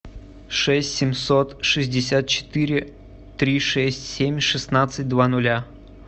шесть семьсот шестьдесят четыре три шесть семь шестнадцать два нуля